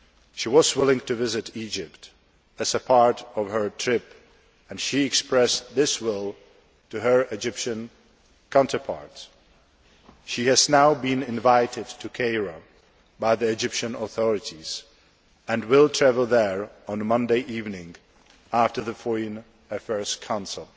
She was willing to visit Egypt as part of her trip and she expressed that will to her Egyptian counterparts. She has now been invited to Cairo by the Egyptian authorities and will travel there on Monday evening, after the Foreign Affairs Council.